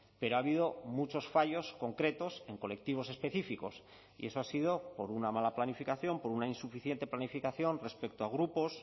pero ha habido muchos fallos concretos en colectivos específicos y eso ha sido por una mala planificación por una insuficiente planificación respecto a grupos